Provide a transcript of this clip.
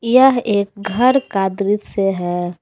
यह एक घर का दृश्य है।